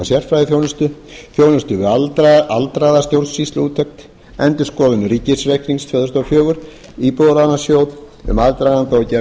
sérfræðiþjónustu þjónustu við aldraða stjórnsýsluúttekt endurskoðun ríkisreiknings tvö þúsund og fjögur íbúðalánasjóð um aðdraganda og gerð